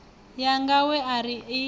yanga we a ri a